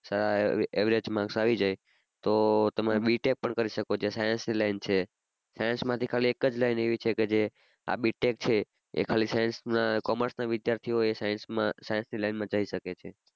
average માં ફાવી જાય તો તમે B Tech પણ કરી શકો જે science ની લાઇન છે science માંથી ખાલી એક જ લાઇન એવી છે કે જે આ B Tech છે એ ખાલી science ના commerce ના વિદ્યાર્થી ઓ એ science માં science ની લાઇન માં જય શકે છે.